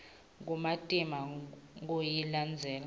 kumatima kuyilandzela